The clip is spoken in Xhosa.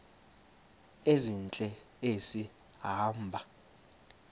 ezintle esi hamba